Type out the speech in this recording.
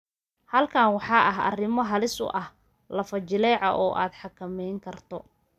Halkan waxaa ah arrimo halis u ah lafo-jileeca oo aad xakamayn karto.